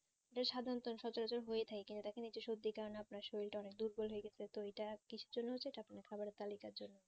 এটা সাধারণত সচরাচর হয়ে থাকে কিন্তু এটা দেখেন এই যে সর্দির কারণে আপনার সরিলটা অনেক দুর্বল হয়ে গেছে তো এটা কিসের জন্য হচ্ছে এটা আপনার খাবার তালিকার জন্য